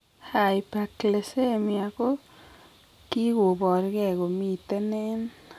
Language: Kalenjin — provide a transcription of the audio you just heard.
Hyperglycemia ko kigobor gee komiten en